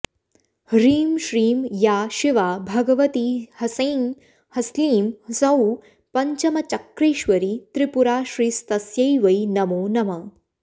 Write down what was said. ह्रीं श्रीं या शिवा भगवती ह्सैं ह्स्लीं ह्सौः पञ्चमचक्रेश्वरी त्रिपुराश्रीस्तस्यै वै नमो नमः